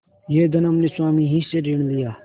यह धन हमने स्वामी ही से ऋण लिया